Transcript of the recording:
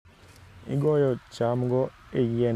Igoyo chamgo e yiende mag cham kitiyo gi masinde makende.